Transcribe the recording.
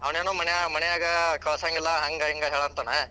ಅವನೇನೊ ಮನೆ ಮನ್ಯಾಗ ಕಳಸಂಗಿಲ್ಲಾ ಹಂಗ ಹಿಂಗ ಹೇಳತ್ತಾನ.